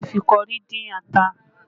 A lè fi kọrí dín ata